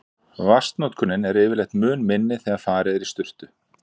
Vatnsnotkunin er yfirleitt mun minni þegar farið er í sturtu.